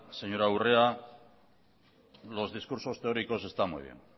señora urrea los discursos teóricos están muy bien